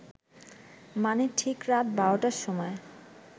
মানে ঠিক রাত বারটার সময়